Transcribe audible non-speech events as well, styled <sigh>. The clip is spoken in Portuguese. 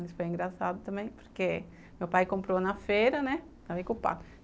Isso foi engraçado também, porque meu pai comprou na feira, né? <unintelligible>